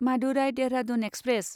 Madurai Dehradun express